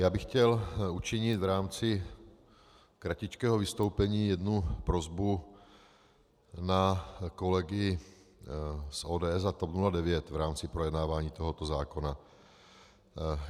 Já bych chtěl učinit v rámci kratičkého vystoupení jednu prosbu na kolegy z ODS a TOP 09 v rámci projednávání tohoto zákona.